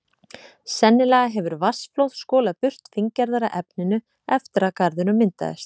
Sennilega hefur vatnsflóð skolað burt fíngerðara efninu eftir að garðurinn myndaðist.